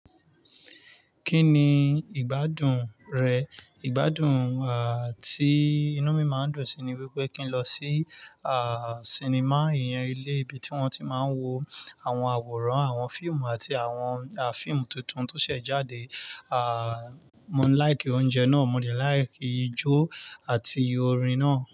Kí ni ìgbádùn rẹ̀? Ìgbádùn à tí inú mi máa ń dùn sí ni wípé kí n lọ sí à cinema, ìyẹn ilé ibi tí wón ti máa ń wo àwọn àwòrán, àwọn fíìmù àti àwọn à fíìmù tuntun tó ṣẹ̀ jáde. À mó ń like oúnjẹ náà, mo de like ijó àti orin náà.